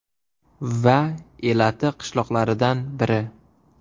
Va elati qishloqlaridan biri.